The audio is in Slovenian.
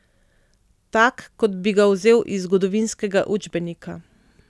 Tak kot bi ga vzel iz zgodovinskega učbenika.